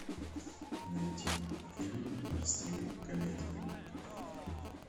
найди фильм в стиле комедии